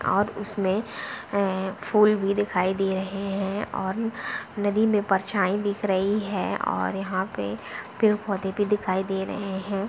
और उसमे ए फूल भी दिखाई दे रहे है और नदी में परछाई दिख रही है और यहाँ पे पेड़ पौधे भी दिखाई दे रहे हैं।